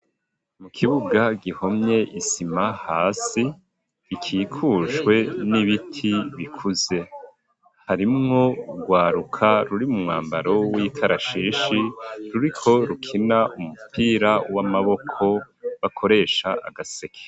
Mu kibuga gihomye isima hasi ,gikikujwe n'ibiti bikuze, harimwo nurwaruka ruri mu mwambaro w'ikarashishi ,ruriko rukina umupira w'amaboko bakoresha agaseke.